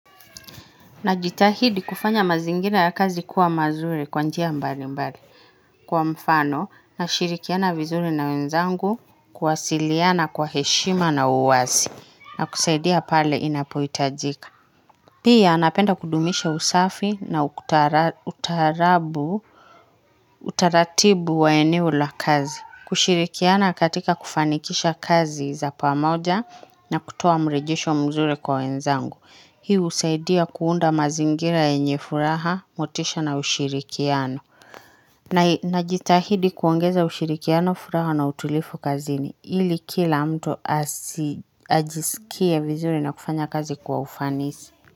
Najitahidi kufanya mazingira ya kazi kuwa mazuri kwa njia mbalimbali kwa mfano nashirikiana vizuri na wenzangu kwasiliana kwa heshima na uwasi na kusaidia pale inapoitajika. Pia, napenda kudumisha usafi na utaarabu, utaratibu wa eneo la kazi. Kushirikiana katika kufanikisha kazi za pamoja na kutoa mrejesho mzuri kwa wenzangu. Hii husaidia kuunda mazingira yenye furaha, motisha na ushirikiano. Najitahidi kuongeza ushirikiano furaha na utulifu kazini, ili kila mtu ajisikie vizuri na kufanya kazi kwa ufanisi.